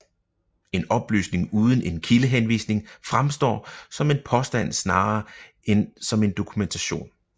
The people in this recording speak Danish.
En oplysning uden en kildehenvisning fremstår som en påstand snarere end som en dokumentation